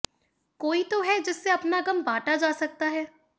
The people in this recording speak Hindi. कोई तो है जिससे अपना गम बांटा जा सकता है